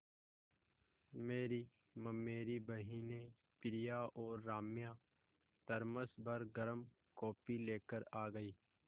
मेरी ममेरी बहिनें प्रिया और राम्या थरमस भर गर्म कॉफ़ी लेकर आ गईं